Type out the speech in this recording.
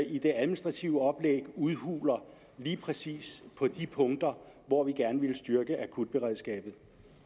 i det administrative oplæg udhuler lige præcis de punkter hvor vi gerne ville styrke akutberedskabet